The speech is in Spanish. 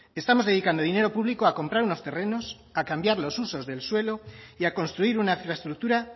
estamos dedicando dinero público a comprar unos terrenos a cambiar los usos del suelo y a construir una infraestructura